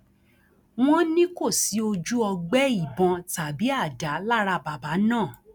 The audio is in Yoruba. wọn ní kò sí ojú ọgbẹ ìbọn tàbí àdá lára bàbá náà